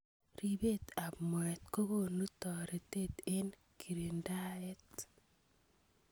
Ribet ab moet kokonu toretet eng kerindaet.